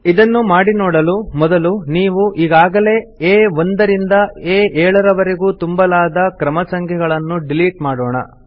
ಇದನ್ನು ಮಾಡಿ ನೋಡಲು ಮೊದಲು ನಾವು ಈಗಾಗಲೇ ಆ1 ರಿಂದ ಆ7 ರವರೆಗೂ ತುಂಬಲಾದ ಕ್ರಮ ಸಂಖ್ಯೆಗಳನ್ನು ಡಿಲೀಟ್ ಮಾಡೋಣ